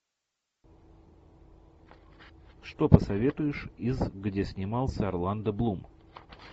что посоветуешь из где снимался орландо блум